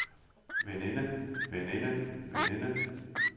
veninde veninde veninde